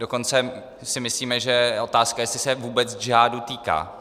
Dokonce si myslíme, že je otázka, jestli se vůbec džihádu týká.